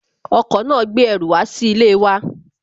Ọkọ̀ náà gbé ẹrù wá sí ilé wa